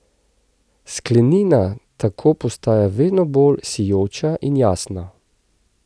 Sklenina tako postaja vedno bolj sijoča in jasna.